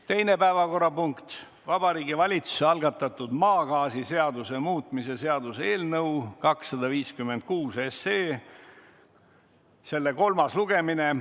Teine päevakorrapunkt: Vabariigi Valitsuse algatatud maagaasiseaduse muutmise seaduse eelnõu 256, selle kolmas lugemine.